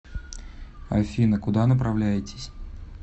афина куда направляетесь